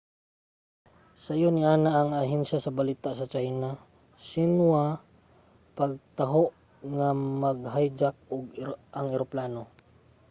sayo niana ang ahensya sa balita sa china nga xinhua nagtaho nga ma-hijack ang eroplano